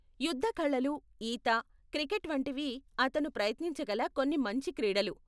యుద్ధ కళలు, ఈత, క్రికెట్ వంటివి అతను ప్రయత్నించగల కొన్ని మంచి క్రీడలు.